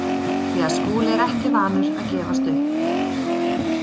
Því að Skúli er ekki vanur að gefast upp.